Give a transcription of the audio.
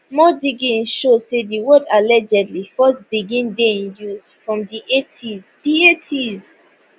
more digging show say di word allegedly first begin dey in use from di 1800s di 1800s